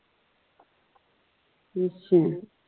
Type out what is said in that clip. ਅੱਛਾ।